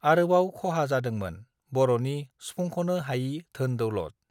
आरोबाव खहा जादोंमोन बरनि सुफुंखनो हायि धोन दौलद